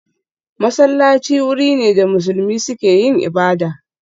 Masallaci wuri ne da musulmi suke yin ibada